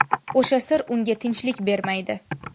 O‘sha sir unga tinchlik bermaydi.